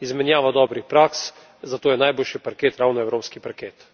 Izmenjava dobrih praks za to je najboljši parket ravno evropski parket.